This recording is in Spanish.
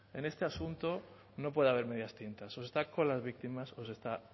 en este asunto no puede haber medias tintas o se está con las víctimas o se está